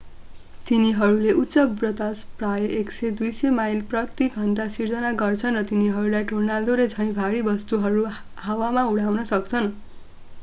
तिनीहरूले उच्च बतास प्रायः 100-200 माइल/घण्टा सिर्जना गर्छन् र तिनीहरूलाई टोर्नाडोले झैँ भारी वस्तुहरू हावामा उठाउन सक्छन्।